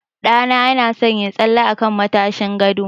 Ɗa na ya na son yin tsalle a kan matashin gado